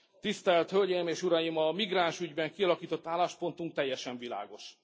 Tisztelt Hölgyeim és Uraim, a migránsügyben kialakított álláspontunk teljesen világos.